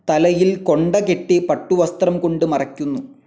തലയിൽ കൊണ്ടകെട്ടി പട്ടുവസ്ത്രം കൊണ്ട് മറയ്ക്കുന്നു.